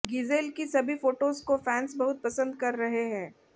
Giselle की सभी photos को फैंस बहुत पसंद कर रहे है